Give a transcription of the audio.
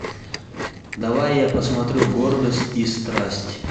давай я посмотрю гордость и страсть